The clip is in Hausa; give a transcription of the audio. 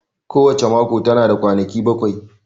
Ko wace mako tana da kwanaki bakwai